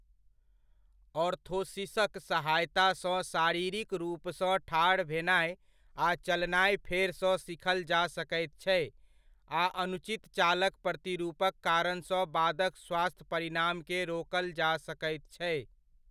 ऑर्थोसिसक सहायतासँ शारीरिक रूपसँ ठाढ़ भेनाय आ चलनाय फेरसँ सीखल जा सकैत छै, आ अनुचित चालक प्रतिरूपक कारणसँ बादक स्वास्थ्य परिणामकेँ रोकल जा सकैत छै।